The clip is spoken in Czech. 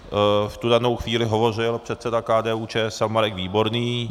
V tu danou chvíli hovořil předseda KDU-ČSL Marek Výborný.